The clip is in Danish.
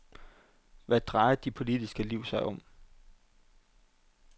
Hvad drejer dit politiske liv sig om?